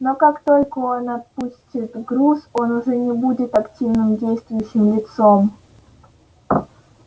но как только он отпустит груз он уже не будет активным действующим лицом